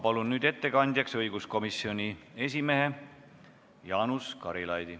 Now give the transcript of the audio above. Palun nüüd ettekandjaks õiguskomisjoni esimehe Jaanus Karilaidi.